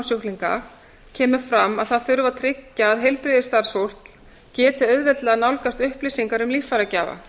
lungnasjúklinga kemur fram að það þurfi að tryggja að heilbrigðisstarfsfólk geti auðveldlega nálgast upplýsingar um líffæragjafa